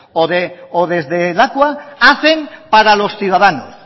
o desde lakua hacen para los ciudadanos